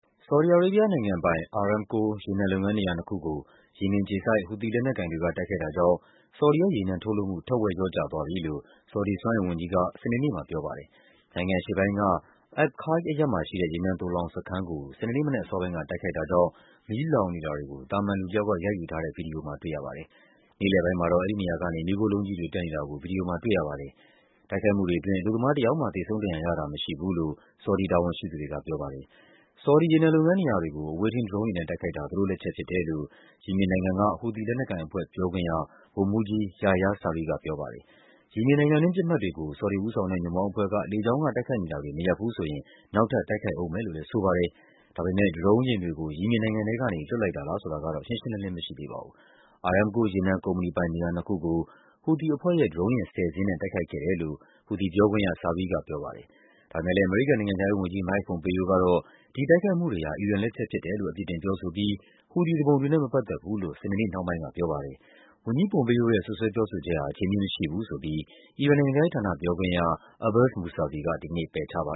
ဆော်ဒီအာရေဗျနိုင်ငံပိုင် Aramco ရေနံလုပ်ငန်း နေရာနှစ်ခုကို ယီမင်အခြေစိုက် ဟူသီလက်နက်ကိုင်တွေက တိုက်ခိုက်တာကြောင့် ဆော်ဒီရဲ့ ရေနံထုတ်လုပ်မှု ထက်ဝက်လျော့ကျသွားပြီလို့ ဆော်ဒီစွမ်းအင်ဝန်ကြီးက စနေနေ့မှာ ပြောပါတယ်။ နိုင်ငံအရှေ့ပိုင်းက Abqaiq အရပ်မှာရှိတဲ့ ရေနံသိုလှောင်စခန်းကို စနေနေ့ မနက်အစောပိုင်းက တိုက်ခိုက်တာကြောင့် မီးလောင်နေတာတွေကို သာမန်လူတယောက်က ရိုက်ယူထားတဲ့ ဗွီဒီယိုမှာ တွေ့ရပါတယ်။ နေ့လယ်ပိုင်းမှာတော့ အဲဒီနေရာကနေ မီးခိုးလုံးကြီးတွေ တက်နေတာကို ဗွီဒီယိုမှာ တွေ့ရပါတယ်။ တိုက်ခိုက်မှုတွေအတွင်း အလုပ်သမားတယောက်မှ သေဆုံးဒဏ်ရာရတာ မရှိဘူးလို့ ဆော်ဒီတာဝန်ရှိသူတွေက ပြောပါတယ်။ ဆော်ဒီ ရေနံလုပ်ငန်းနေရာတွေကို အဝေးထိန်း ဒရုန်းယာဉ်နဲ့ တိုက်ခိုက်တာ သူတို့လက်ချက်ဖြစ်တယ်လို့ ယီမင်နိုင်ငံက ဟူသီ လက်နက်ကိုင်အဖွဲ့ ပြောခွင့်ရ ဗိုလ်မှူးကြီး Yahya Saree က ပြောပါတယ်။ ယီမင်နိုင်ငံတွင်း ပစ်မှတ်တွေကို ဆော်ဒီဦးဆောင်တဲ့ ညွန့်ပေါင်းအဖွဲ့က လေကြောင်းကတိုက်ခိုက်နေတာတွေ မရပ်ဘူးဆိုရင် နောက်ထပ် တိုက်ခိုက်ဦးမယ်လို့လည်း ဆိုပါတယ်။ ဒါပေမယ့် ဒရုန်းတွေကို ယီမင်နိုင်ငံထဲကနေ လွှတ်လိုက်တာလားဆိုတာတော့ ရှင်းရှင်းလင်းလင်း မရှိသေးပါဘူး။ Aramco ရေနံကုမ္ပဏီပိုင် နေရာနှစ်ခုကို ဟူသီအဖွဲ့ရဲ့ ဒရုန်းယာဉ် ၁၀ စင်းနဲ့ တိုက်ခိုက်ခဲ့တယ်လို့ ဟူသီပြောခွင့်ရ Saree က ပြောပါတယ်။ ဒါပေမယ့်လည်း အမေရိကန် နိုင်ငံခြားရေးဝန်ကြီး Mike Pompeo ကတော့ ဒီတိုက်ခိုက်မှုတွေဟာ အီရန်လက်ချက်ဖြစ်တယ်လို့ အပြစ်တင်ပြောဆိုပြီး ဟူသီသူပုန်တွေ မပတ်သက်ဘူးလို့ စနေနေ့နှောင်းပိုင်းက ပြောပါတယ်။ ဝန်ကြီး Pompeo ရဲ့ စွပ်စွဲပြောဆိုချက်ဟာ အခြေအမြစ်မရှိဘူးဆိုပြီး အီရန်နိုင်ငံခြားရေးဌာန ပြောခွင့်ရ Abbas Mousavi က ဒီကနေ့ ပယ်ချပါ